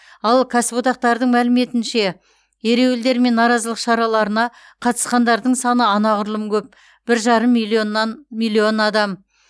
ал кәсіподақтардың мәліметінше ереуілдер мен наразылық шараларына қатысқандардың саны анағұрлым көп бір жарым миллионнан миллион адам